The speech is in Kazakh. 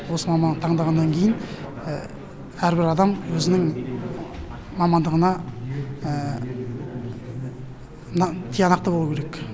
осы мамандықты таңдағандықтан кейн әрбір адам өзінің мамандығына тиянақты болуы керек